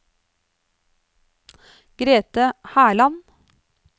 Grete Herland